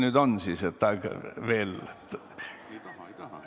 Mis siis nüüd veel on?